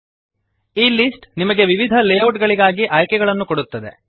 ಈ ಲಿಸ್ಟ್ ನಿಮಗೆ ವಿವಿಧ ಲೇಔಟ್ ಗಳಿಗಾಗಿ ಆಯ್ಕೆಗಳನ್ನು ಕೊಡುತ್ತದೆ